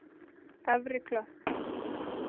Efri Klöpp